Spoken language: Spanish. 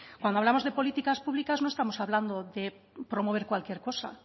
cuando hablamos de políticas públicas no estamos hablando de promover cualquier cosa